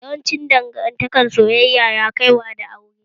Yawancin dangantaka soyayya na kai wa ga aure